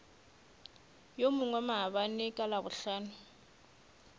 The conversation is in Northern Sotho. yo mongwe maabane ka labohlano